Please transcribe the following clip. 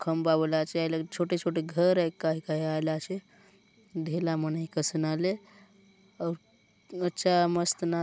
खंबा बले आचे हाय लगे छोटे-छोटे घर आय काय काय आय आले आचे ढेला मन कसन आले अउर अच्छा मस्त --